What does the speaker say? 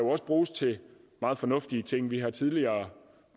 bruges til meget fornuftige ting vi har jo tidligere